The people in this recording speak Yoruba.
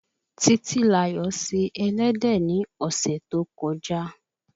Títílayò se ẹlẹ́dẹ̀ ni ọ̀sẹ̀ tó kọjá